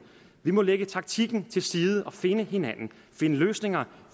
vi må lægge taktikken til side og finde hinanden finde løsninger